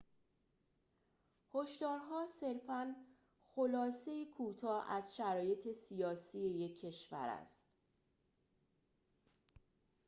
هشدارها صرفاً خلاصه‌ای کوتاه از شرایط سیاسی یک کشور است